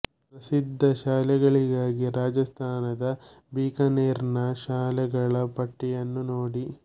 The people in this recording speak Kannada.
ಪ್ರಸಿದ್ಧ ಶಾಲೆಗಳಿಗಾಗಿ ರಾಜಸ್ಥಾನದ ಬಿಕಾನೆರ್ ನ ಶಾಲೆಗಳ ಪಟ್ಟಿಯನ್ನು ನೋಡಿ